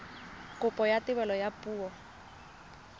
kopo ya thebolo ya poo